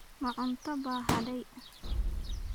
Ma cunto baa hadhay?